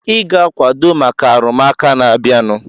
Ị ga-akwado maka arụmụka na-abịanụ!